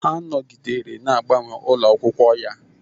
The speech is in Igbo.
Ha nọgidere na-agbanwe ụlọ akwụkwọ ya